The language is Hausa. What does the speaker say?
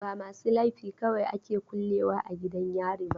Ba masu laifi kawai ake kulle wa a gidan yari ba.